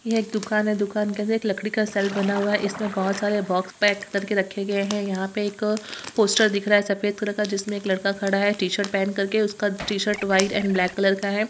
यह एक दुकान है | दुकान के अंदर लकड़ी का सेल्फ बना हुआ है | इसमें बहुत सारे बॉक्स पैक करके रखे गए हैं | यहां पे एक पोस्टर दिख रहा है सफेद कलर का जिसमे एक लड़का खड़ा हैं टी-शर्ट पहन करके | उसका T-shirt white and black colour का है।